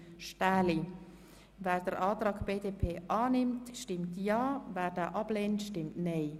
Wer den Antrag annimmt, stimmt Ja, wer ihn ablehnt, stimmt Nein.